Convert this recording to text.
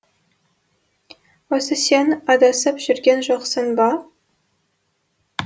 осы сен адасып жүрген жоқсың ба